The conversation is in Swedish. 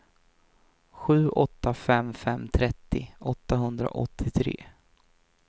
sju åtta fem fem trettio åttahundraåttiotre